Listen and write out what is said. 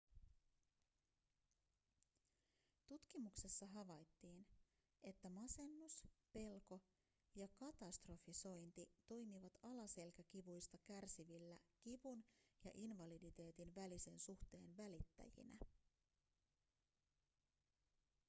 tutkimuksessa havaittiin että masennus pelko ja katastrofisointi toimivat alaselkäkivuista kärsivillä kivun ja invaliditeetin välisen suhteen välittäjinä